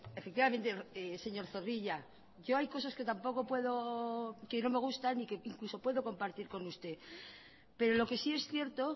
efectivamente señor zorrilla hay cosas que tampoco me gustan y que incluso puedo compartir con usted pero lo que sí es cierto